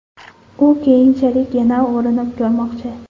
U keyinchalik yana urinib ko‘rmoqchi.